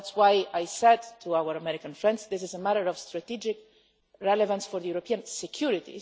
That is why I said to our American friends that this is a matter of strategic relevance for European security.